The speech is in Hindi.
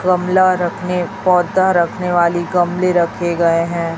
गमला रखने पौधा रखने वाली गमले रखे गए हैं।